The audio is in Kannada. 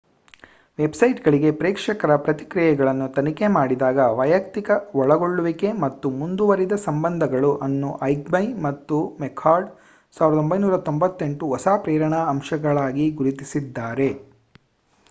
ವೆಬ್‌ಸೈಟ್‌ಗಳಿಗೆ ಪ್ರೇಕ್ಷಕರ ಪ್ರತಿಕ್ರಿಯೆಗಳನ್ನು ತನಿಖೆ ಮಾಡಿದಾಗ ವೈಯಕ್ತಿಕ ಒಳಗೊಳ್ಳುವಿಕೆ ಮತ್ತು ಮುಂದುವರಿದ ಸಂಬಂಧಗಳು ಅನ್ನು ಐಗ್ಮೆ ಮತ್ತು ಮೆಕ್‌ಕಾರ್ಡ್ 1998 ಹೊಸ ಪ್ರೇರಣಾ ಅಂಶಗಳಾಗಿ ಗುರುತಿಸಿದ್ದಾರೆ